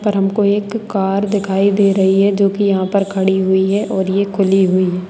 और हमको एक कार दिखाई दे रही है जो कि यहाँ पर खड़ी हुई है और ये खुली हुई है।